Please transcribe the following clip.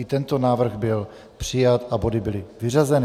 I tento návrh byl přijat a body byly vyřazeny.